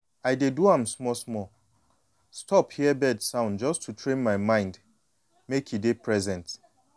i dey do am small-small: stop hear bird sound just to train my mind mek e dey present.